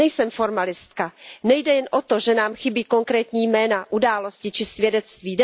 Nejsem formalistka, nejde jen o to, že nám chybí konkrétní jména, události či svědectví.